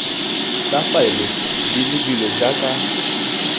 tsa faele di lebilwe jaaka